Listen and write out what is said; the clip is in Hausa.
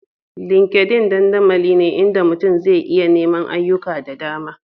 LinkedIn dandamali ne inda mutum zai iya neman ayyuka da dama